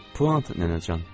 Puantdır, Nənəcan.